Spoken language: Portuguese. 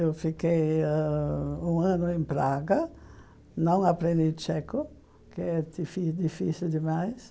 Eu fiquei ãh um ano em Praga, não aprendi tcheco, que é difi difícil demais.